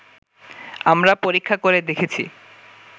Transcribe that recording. আমরা পরীক্ষা করে দেখেছি